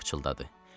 Yeva pıçıldadı.